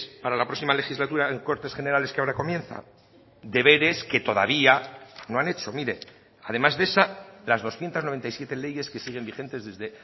para la próxima legislatura en cortes generales que ahora comienza deberes que todavía no han hecho mire además de esa las doscientos noventa y siete leyes que siguen vigentes desde